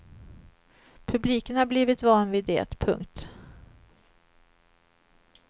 Publiken har blivit van vid det. punkt